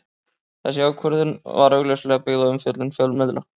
Þessi ákvörðun var augljóslega byggð á umfjöllun fjölmiðla.